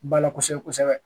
Bala kosɛbɛ kosɛbɛ